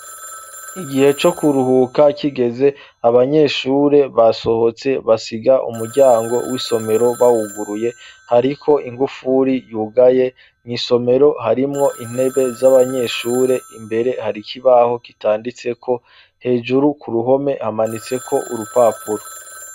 Igihe co kuruhuka kigeze abanyeshure basohotse basiga umuryango w'isomero bawuguruye hariko inkufuri yugaye nk'isomero harimwo intebe z'abanyeshure imbere hari ikibaho kitanditseko hejuru ku ruhome hamanitseko urupapuro.